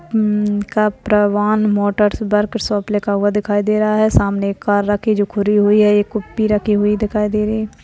म-म Kaparwan motors workshop लिखा हुआ दिखाई दे रहा है सामने एक कार रखी जो खुली हुई है एक कुप्पी रखी हुई दिखाई दे रही है।